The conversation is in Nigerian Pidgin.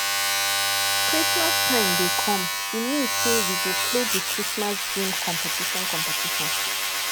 christmas time dey come e mean sey we go play di christmas game competition competition